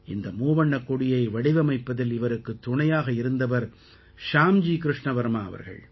இந்த மூவண்ணக் கொடியை வடிவமைப்பதில் இவருக்குத் துணையாக இருந்தவர் ஷ்யாம்ஜி கிருஷ்ண வர்மா அவர்கள்